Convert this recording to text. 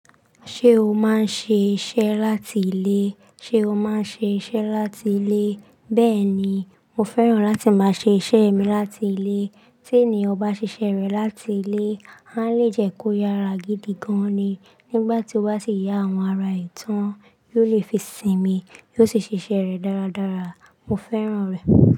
Ṣé o máa ń ṣe iṣẹ́ láti ilé? Ṣé o máa ń ṣe iṣẹ́ láti ilé? Bẹ́ẹ̀ ni, mo fẹ́ràn láti máa ṣe iṣẹ́ mi láti ilé. Tí ènìyàn bá ṣe iṣẹ́ rẹ̀ láti ilé, á lè jẹ́ kó yára gidi gan ni. Nígbà tí ó bá sì yá àwọn ara ìtàn, yóò lè fi sìnmi, yóò sì ṣe iṣẹ́ rẹ̀ dáradára. Mo fẹ́ràn rẹ̀.